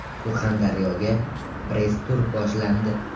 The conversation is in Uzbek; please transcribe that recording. Surxondaryoga press tur boshlandi .